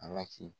Ala k'i